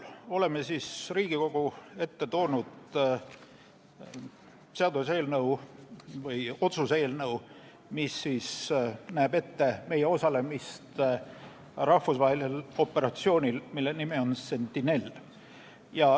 Oleme Riigikogu ette toonud otsuse eelnõu, mis näeb ette meie osalemise rahvusvahelisel operatsioonil, mille nimi on Sentinel.